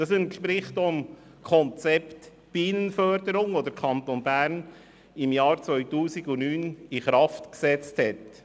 Das entspricht auch dem Konzept Bienenförderung, das der Kanton Bern im Jahr 2009 in Kraft gesetzt hat.